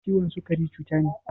Ciwon sukari cuta ne